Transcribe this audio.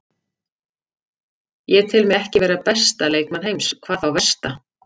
Ég tel mig ekki vera besta leikmann heims, hvað þá versta.